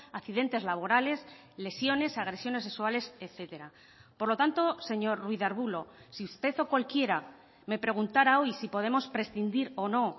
accidentes laborales lesiones agresiones sexuales etcétera por lo tanto señor ruiz de arbulo si usted o cualquiera me preguntara hoy si podemos prescindir o no o